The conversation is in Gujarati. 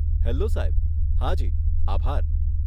હેલો, સાહેબ. હાજી, આભાર.